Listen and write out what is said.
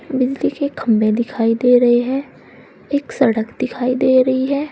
Building के खम्भे दिखाई दे रहे हैं एक सड़क दिखाई दे रही है।